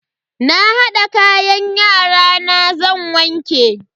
Na hada kayan yarana zan wanke.